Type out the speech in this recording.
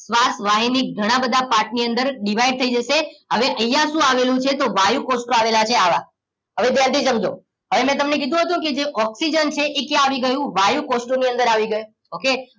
શ્વાસ વાહિની ઘણા બધા પાર્ટ ની અંદર દિવાઈડ થઈ જશે હવે અહિયા શું આવુલું છે તો વાયુ કોષો આવેલા છે આવા હવે ધ્યાન થી સમજો હવે મેં તમને કીધું હતુંને જે ઓક્સિજન છે ઈ ક્યાં આવી ગયું વાયુ કોષ ની અંદર આઈ ગયું ઓકે?